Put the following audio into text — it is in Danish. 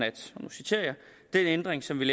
for eksempel